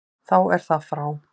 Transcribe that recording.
Þá er það frá.